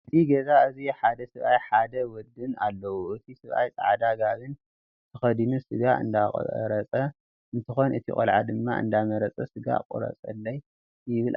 እዚ ገዛ እዙይ ሓደ ሰብኣይን ሓደ ወድን ኣለውን እቲ ሰብኣይ ፃዕዳ ጋቦን ተከዲኑ ስጋ እንዳቆረፀ እንትኮን እቲ ቆልዓ ድማ እንዳመረፀ ስጋ ቁረፁለይ ይብል ኣሎ ይመስል።